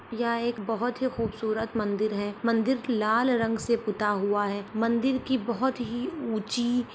यहाँ एक बहुत ही खूबसूरत मंदिर हैं मंदिर लाल रंग से पुता हुआ है मंदिर की बहुत ही ऊँची--